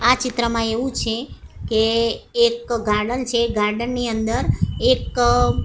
આ ચિત્રમાં એવું છે કે એક ગાર્ડન છે ગાર્ડન ની અંદર એક--